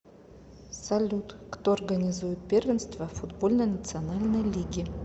салют кто организует первенство футбольной национальной лиги